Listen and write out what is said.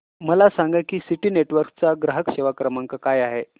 मला सांगा की सिटी नेटवर्क्स चा ग्राहक सेवा क्रमांक काय आहे